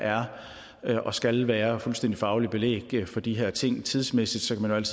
er og skal være fuldstændig fagligt belæg for de her ting tidsmæssigt kan man